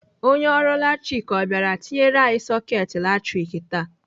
Onye ọrụ latrik ọ bịara bịa tinyere anyị soketị latrik taa?